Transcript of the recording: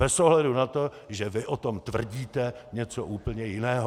Bez ohledu na to, že vy o tom tvrdíte něco úplně jiného.